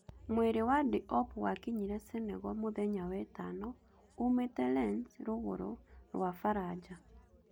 Mwĩrĩ wa Diop wakinyire Senegal mũthenya wetano uumite Lens rũgũrũ rwa baranja